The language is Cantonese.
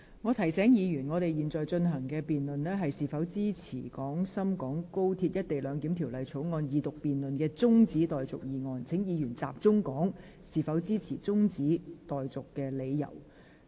我提醒議員，本會現正辯論的議題是，應否將《廣深港高鐵條例草案》的二讀辯論中止待續，請議員集中討論為何支持或反對中止待續議案。